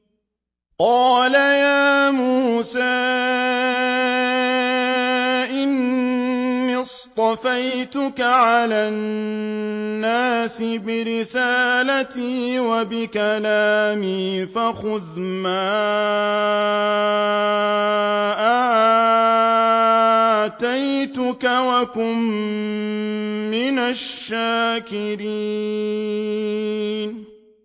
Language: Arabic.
قَالَ يَا مُوسَىٰ إِنِّي اصْطَفَيْتُكَ عَلَى النَّاسِ بِرِسَالَاتِي وَبِكَلَامِي فَخُذْ مَا آتَيْتُكَ وَكُن مِّنَ الشَّاكِرِينَ